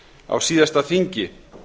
á síðasta þingi